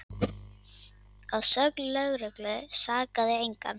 Að sögn lögreglu sakaði engan